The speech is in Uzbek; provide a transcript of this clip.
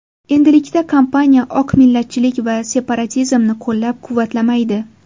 Endilikda kompaniya oq millatchilik va separatizmni qo‘llab-quvvatlamaydi.